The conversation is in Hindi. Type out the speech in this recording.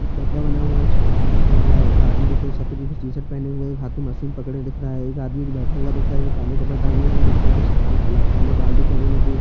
एक डब्बा बना हुआ है उसमे पानी रखा हुआ है एक आदमी दिख रहा है सफ़ेद रंग का उसने टी-शर्ट पहना हुआ है हाथ में मशीन पकडे हुए दिख रहा है एक आदमी बैठे हुआ दिख रहा है आदमी काले कपडे टांगे हुए दिख रहा है उसके काले बाल दिख रहे है दोनों के --